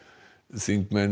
þingmenn